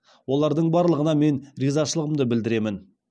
олардың барлығына мен ризашылығымды білдіремін